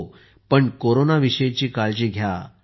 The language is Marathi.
हो पण कोरोनाविषयी काळजी घ्या